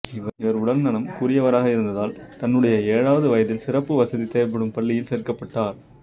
இவர் உடல்நலம் குறியவராக இருந்ததால் தன்னுடைய ஏழாவது வயதில் சிறப்பு வசதி தேவைப்படும் பள்ளியில் சேர்க்கப்பட்டார்